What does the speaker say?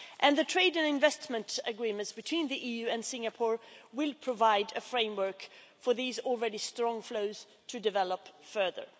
The trade and investment agreements between the EU and Singapore will provide a framework for these already strong flows to develop further.